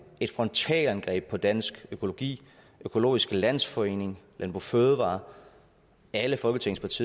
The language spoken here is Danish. et frontalangreb på dansk økologi økologisk landsforening landbrug fødevarer alle folketingets